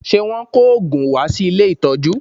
Ṣe Wọ́n kò òògùn wá sí ilé ìtọ́jú?